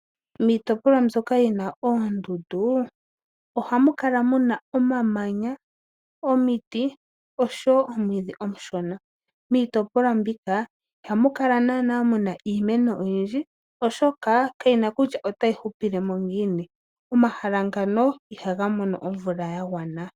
Miitopolwa mbyoka yi na oondundu ohayi kala yi na omamanya, omiti noshowo omwiidhi omushona. Miitopolwa mbika ihamu kala naana muna iimeno oyindji oshoka kayishi kutya otayi hupilemo ngiini. Omahala gamwe ohaga kala gena omvula ya gwana.